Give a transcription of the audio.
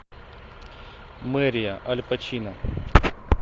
мэрия аль пачино